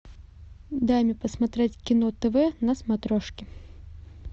дай мне посмотреть кино тв на смотрешке